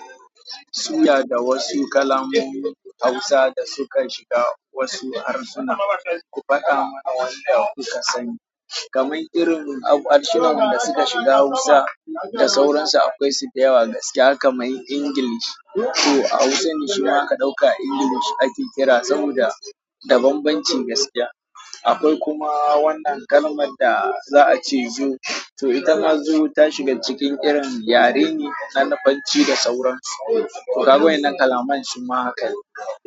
Suya da wasu kalaman Hausa da suka shiga wasu harsuna. Ku faɗa mana wanda kuka sani. Kamar irin harsunan da suka shiga Hausa da sauransu akwai su da yawa gaskiya kamar Ingilishi. To a Hausa nishina aka ɗauka Ingilishi ake kira saboda banbanci gaskiya. Akwai kuma wannan kalmar da za a ce zo to ita na zo ta shiga cikin irin yare ne na Lafanci da sauransu. Ku ga wannan kalaman su ma haka ne.